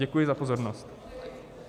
Děkuji za pozornost.